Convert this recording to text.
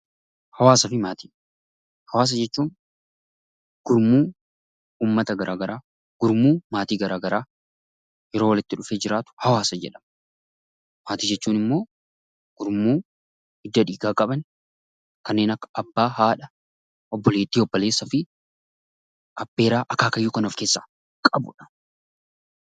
Hawaasaa fi Maatii Hawaasaa jechuun gurmuu uummata gara garaa, gurmuu maatii gara garaa yeroo walitti dhufee jiraatu 'hawaasa' jedhama. Maatii jechuun immoo gurmuu hidda dhiigaa qaban, kanneen akka Abbaa, haadha, obboleettii, obboleessaa fi abbeeraa, akaakayyuu kan of keessaa qabu dha.